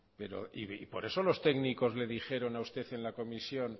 por eso los técnicos le dijeron a usted en la comisión